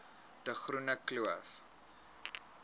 de groene kloof